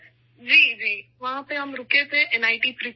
جی ! جی! ہم وہاں پر رکے تھے ، این آئی ٹی تریچی میں